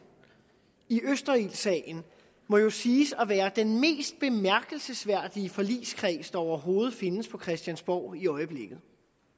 i østerildsagen må jo siges at være den mest bemærkelsesværdige forligskreds der overhovedet findes på christiansborg i øjeblikket